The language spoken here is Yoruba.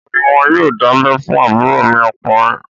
Ọ̀la ní wọn yóò dábẹ́ fún àbúrò mi ọkùnrin